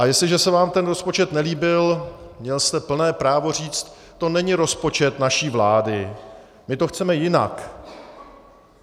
A jestliže se vám ten rozpočet nelíbil, měl jste plné právo říct: To není rozpočet naší vlády, my to chceme jinak.